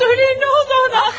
Söyləyin, nə oldu ona?